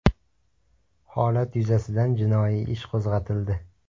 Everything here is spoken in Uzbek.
Holat yuzasidan jinoiy ish qo‘zg‘atildi.